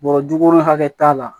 Bɔrɔ duuru hakɛ t'a la